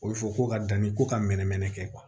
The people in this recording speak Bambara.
O bɛ fɔ ko ka danni ko ka mɛnɛ mɛnɛ kɛ